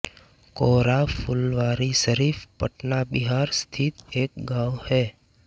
कोर्रा फुलवारीशरीफ़ पटना बिहार स्थित एक गाँव है